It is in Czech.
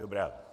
Dobrá.